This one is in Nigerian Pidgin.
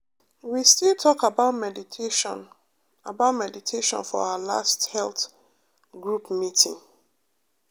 we still talk about meditation about meditation for our last health group meeting.